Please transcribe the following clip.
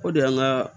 O de y'an ka